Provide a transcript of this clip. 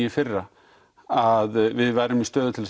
í fyrra að við værum í stöðu til